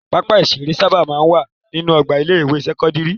Pápá-ìṣeré sábà máa ń wà nínú ọgbà ilé-ìwé sẹ́kọ́ndárì.